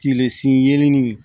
Tige sin yelennin